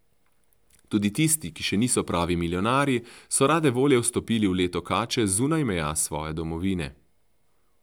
Tudi tisti, ki še niso pravi milijonarji, so rade volje vstopili v leto kače zunaj meja svoje domovine.